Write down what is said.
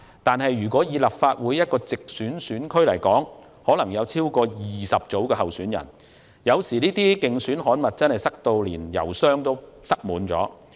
但是，立法會一個直選選區可能有超過20組候選人，這些競選刊物有時真的會塞滿郵箱。